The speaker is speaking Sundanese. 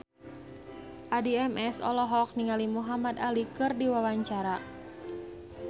Addie MS olohok ningali Muhamad Ali keur diwawancara